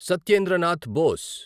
Satyendra Nath Bose